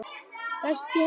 Best í heimi.